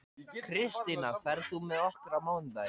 Kristína, ferð þú með okkur á mánudaginn?